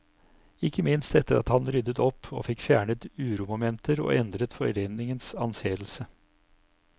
Ikke minst etter at han ryddet opp og fikk fjernet uromomenter og endret foreningens anseelse.